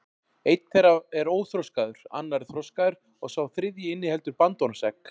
Einn þeirra er óþroskaður, annar er þroskaður og sá þriðji inniheldur bandormsegg.